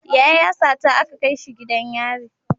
Yaya ya sata aka kaishi gidan yari